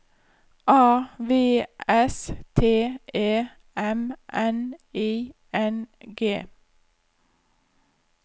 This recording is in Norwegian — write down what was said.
A V S T E M N I N G